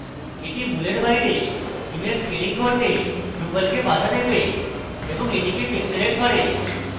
এটি মূলের বাইরে image scaling করতে ড্রুপালকে বাধা দেবে এবং এটিকে pixelated করে